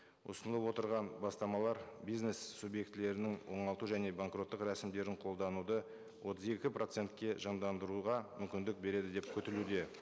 ұсынылып отырған бастамалар бизнес субъектілерінің оңалту және банкроттық рәсімдерін қолдануды отыз екі процентке жандандыруға мүмкіндік береді деп күтілуде